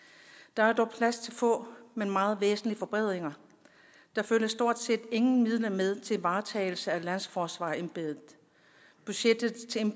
der er dog plads til få men meget væsentlige forbedringer der følger stort set ingen midler med til varetagelse af landsforsvarersembedet budgettet